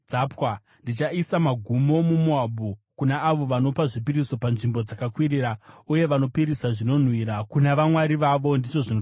Ndichaisa magumo muMoabhu, kuna avo vanopa zvipiriso panzvimbo dzakakwirira, uye vanopisira zvinonhuhwira kuna vamwari vavo,” ndizvo zvinotaura Jehovha.